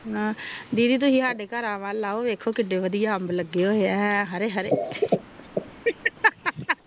ਦੀਦੀ ਤੁਸੀਂ ਸਾਡੇ ਘਰ ਵੱਲ ਵੇਖੋ ਦੇਖੋ ਕਿਨੇ ਵਧੀਆ ਅੰਬ ਲਗੇ ਆ ਹੈਂ ਹਰੇ ਹਰੇ ਓਹ ਓਹ ਓਹ ਹਾਂ ਹਾਂ